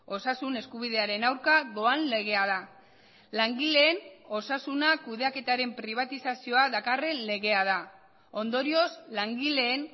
osasun eskubidearen aurka doan legea da langileen osasuna kudeaketaren pribatizazioa dakarren legea da ondorioz langileen